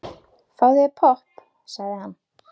Fáðu þér popp, sagði hann.